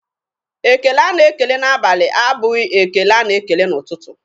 Ekele a na-ekele n'abali abụghị ekele a na-ekele n'ụtụtụ.